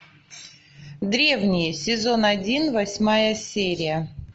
древние сезон один восьмая серия